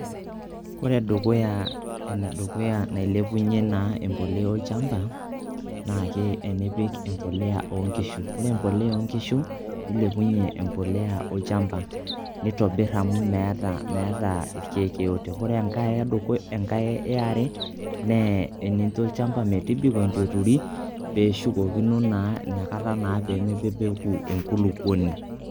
kore dukuya ene dukuya nailepunye naa embolea olchamba naake enipik embolea o nkishu, ore embolea o nkishu nilepunye embolea olchamba nitobir amu meeta irkeek yeyote. Kore enkae ear e naa eninjo olchamba metibiko intu eturi pee eshukokino naa inakata pee mebebeku enkulukoni.